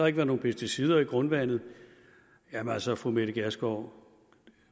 ikke været nogen pesticider i grundvandet jamen altså fru mette gjerskov